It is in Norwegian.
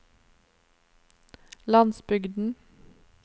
landsbygden